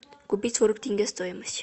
купить сорок тенге стоимость